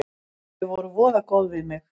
Þau voru voða góð við mig.